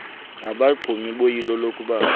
nabaxumi boyilo lokuphamba